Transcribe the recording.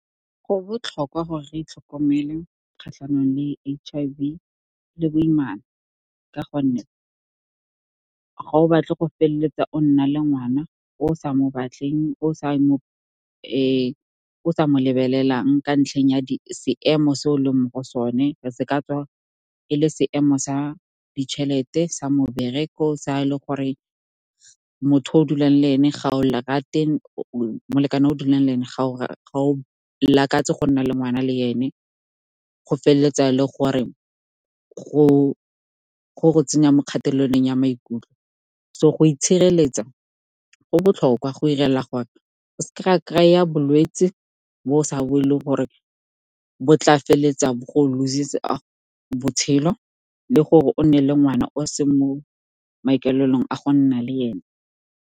Go botlhokwa gore re itlhokomele kgatlhanong le H_I_V le boimana ka gonne, ga o batle go feleletsa o nna le ngwana o o sa mo batleng o o sa mo lebelelang ka ntlheng ya seemo se o leng mo go sone. Se ka tswa e le seemo sa ditšhelete, sa mebereko, sa ga e le gore molekane o o dulang le ene, ga o lakatse go nna le ngwana le ene. Go feleletsa le gore go go tsenya mo kgatelelong ya maikutlo. So, go itshireletsa go botlhokwa go 'irela gore kry-a bolwetse bo o sa bo e leng gore bo tla feleletsa lose-itse botshelo, le gore o nne le ngwana o se mo maikaelelong a go nna le ene.